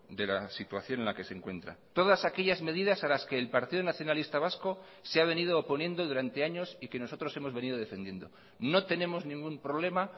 de la situación en la que se encuentra todas aquellas medidas a las que el partido nacionalista vasco se ha venido oponiendo durante años y que nosotros hemos venido defendiendo no tenemos ningún problema